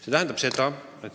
See tähendab seda.